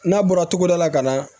N'a bɔra togoda la ka na